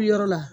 Yɔrɔ la